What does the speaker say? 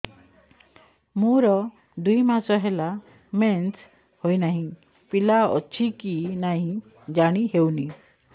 ମୋର ଦୁଇ ମାସ ହେଲା ମେନ୍ସେସ ହୋଇ ନାହିଁ ପିଲା ଅଛି କି ନାହିଁ ଜାଣି ହେଉନି